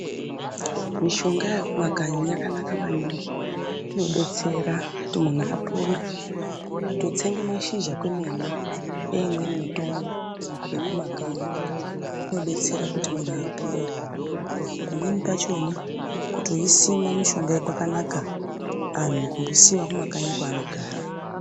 Mishonga yekumakanyi yakanaka maningi inodetsera kuti muntu apore kutotsenga mashizha kwemene eimweni mitombo yekumakanyi kunodetsera kuti muntu apore pamweni pachona kutoisima mishonga iyi kwakanaka antu kutoisima kumakanyi kwevanogara .